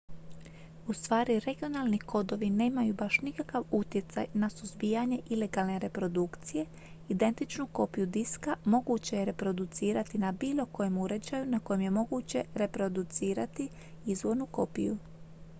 ustvari regionalni kodovi nemaju baš nikakav utjecaj na suzbijanje ilegalne reprodukcije identičnu kopiju diska moguće je reproducirati na bilo kojem uređaju na kojem je moguće reproducirati izvornu kopiju